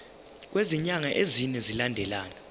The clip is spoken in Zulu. kwezinyanga ezine zilandelana